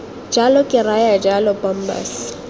jalo ke raya jalo bombas